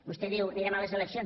vostè diu anirem a les eleccions